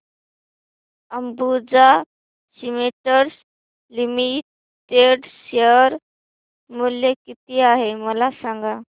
Ambuja cements limited share मूल्य किती आहे मला सांगा